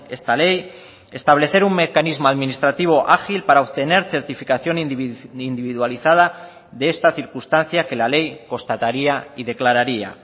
esta ley establecer un mecanismo administrativo ágil para obtener certificación individualizada de esta circunstancia que la ley constataría y declararía